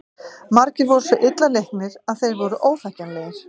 Margir voru svo illa leiknir að þeir voru óþekkjanlegir.